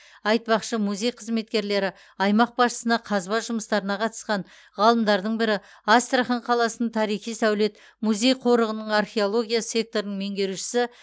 айтпақшы музей қызметкерлері аймақ басшысына қазба жұмыстарына қатысқан ғалымдардың бірі астрахан қаласының тарихи сәулет музей қорығының археология секторының меңгерушісі